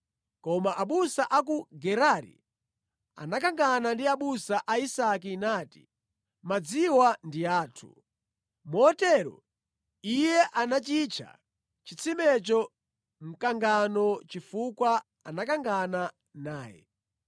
Koma abusa a ku Gerari anakangana ndi abusa a Isake nati, “Madziwa ndi athu.” Motero iye anachitcha chitsimecho Mkangano chifukwa anakangana naye.